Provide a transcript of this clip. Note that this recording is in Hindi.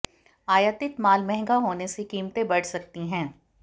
आयातित माल महंगा होने से कीमतें बढ़ सकती हैं